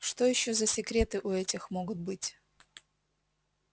что ещё за секреты у этих могут быть